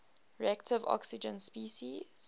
reactive oxygen species